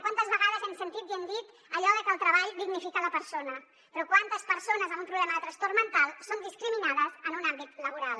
quantes vegades hem sentit i hem dit allò de que el treball dignifica la persona però quantes persones amb un problema de trastorn mental són discriminades en un àmbit laboral